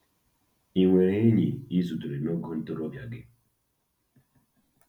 Ị nwere “enyi” ị zutere n'oge ntorobịa gị.